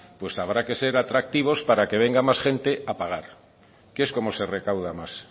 pues habrá que ser atractivos para que venga más gente a pagar que es como se recauda más